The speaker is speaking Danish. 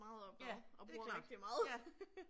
Ja, det er klart, ja